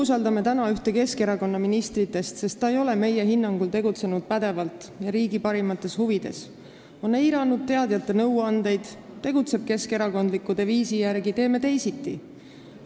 Me avaldame täna umbusaldust ühele Keskerakonna ministritest, sest ta ei ole meie hinnangul tegutsenud pädevalt ega riigi parimates huvides, ta on eiranud teadjate nõuandeid ja tegutseb keskerakondliku deviisi järgi "Teeme teisiti!".